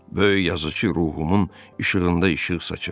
Böyük yazıçı ruhumun işığında işıq saçır.